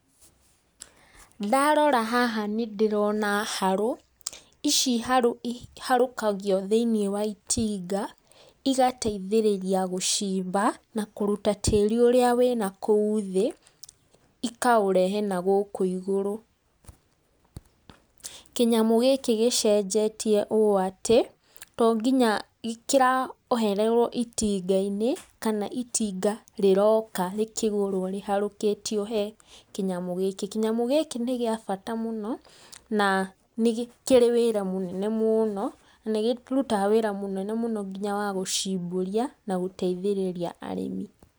Ndarora haha nĩndĩrona harũ, ici harũ iharũkagio thĩ-inĩ wa itinga, igateithĩrĩria gũcimba na na kũruta tĩri ũrĩa wĩ nakũu thĩ, ikaũrehe nagũkũ igũrũ. Kĩnyamũ gĩkĩ gĩcenjetie ũũ atĩ, to nginya kĩrohererwo itinga-inĩ, kana itinga rĩroka rĩkĩgũrwo rĩharũkitio he kĩnyamũ gĩkĩ, kĩnyamũ gĩkĩ nĩ gĩa bata mũno, na nĩ kĩrĩ wĩra mũnene mũno, nĩ kĩrutaga wĩra mũnene mũno nginya wa gũcimbũria na gũteithĩrĩria arĩmi.